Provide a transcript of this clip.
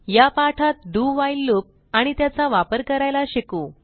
या पाठात do while loop आणि त्याचा वापर करायला शिकू